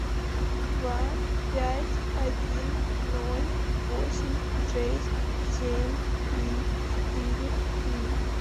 два пять один ноль восемь шесть семь три четыре три